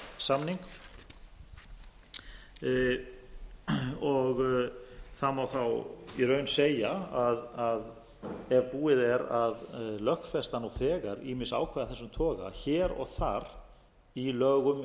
nítján hundruð sextíu og átta svokallaðan npt samning það má þá í raun segja að ef búið er að lögfesta nú þegar ýmis ákvæði af þessum toga hér og þar í lögum